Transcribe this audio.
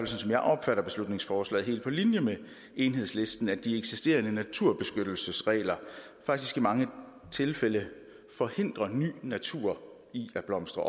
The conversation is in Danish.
som jeg opfatter beslutningsforslaget helt på linje med enhedslisten at de eksisterende naturbeskyttelsesregler faktisk i mange tilfælde forhindrer ny natur i at blomstre